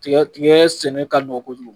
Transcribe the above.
Tiga dun, n'i ye sɛnɛ daminɛ